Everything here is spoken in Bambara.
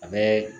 A bɛ